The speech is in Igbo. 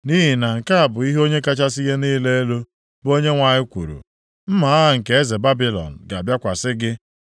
“ ‘Nʼihi na nke a bụ ihe Onye kachasị ihe niile elu, bụ Onyenwe anyị kwuru, “ ‘Mma agha nke eze Babilọn ga-abịakwasị gị.